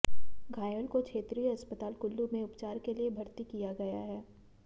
घायल को क्षेत्रीय अस्पताल कुल्लू में उपचार के लिए भर्ती किया गया है